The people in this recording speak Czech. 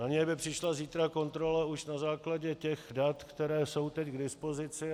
Na ně by přišla zítra kontrola už na základě těch dat, která jsou teď k dispozici.